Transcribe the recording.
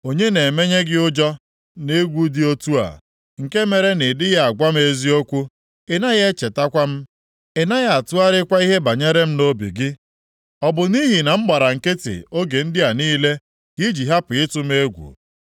“Onye na-emenye gị ụjọ na egwu dị otu a? Nke mere na ị dịghị agwa m eziokwu? Ị naghị echetakwa m, ị naghị atụgharịkwa ihe banyere m nʼobi gị? Ọ bụ nʼihi na m gbara nkịtị oge ndị a niile ka i ji hapụ ịtụ m egwu?